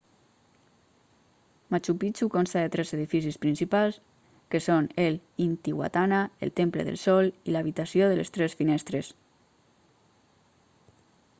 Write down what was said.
machu picchu consta de tres edificis principals que són el intihuatana el temple del sol i l'habitació de les tres finestres